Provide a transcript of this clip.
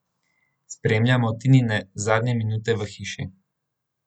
Spremljamo Tinine zadnje minute v hiši.